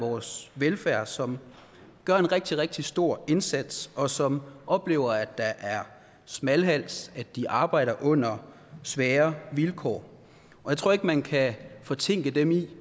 vores velfærd som gør en rigtig rigtig stor indsats og som oplever at der er smalhals og at de arbejder under svære vilkår jeg tror ikke man kan fortænke dem i at